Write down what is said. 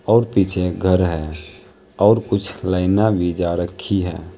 और पीछे एक घर है और कुछ लाइना भी जा रखी है।